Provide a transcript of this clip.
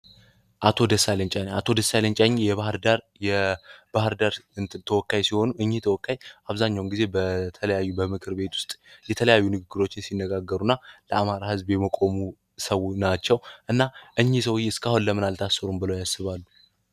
አቶ ደሳለኝ ቻኘ የባህር ዳር ተወካይ ሲሆኑ አብዛህኛውን ጊዜ በተለያዩ በምክር ቤት ዉስጥ የተለያዩ ንግግርችን ሲነጋገሩ እና ለ አማራ ሕዝብም የመቆሙም ሰው ናቸው እና ሰዉዬ ሰዉዬ ለምን አልታሰሩም ብለው ያስባሉ